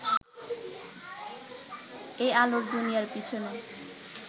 এই আলোর দুনিয়ার পিছনে